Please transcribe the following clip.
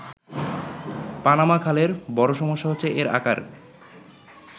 Panama খালের বড়ো সমস্যা হচ্ছে এর আকার।